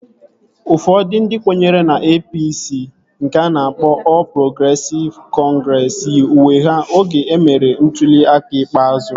Ụfọdụ ndị kwenyere na APC nke a na-akpọ Ọl Progresịv Kọngresi yi uwe ha oge emere ntụli aka ikpeazụ